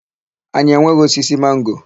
Anyị enweghị osisi mango.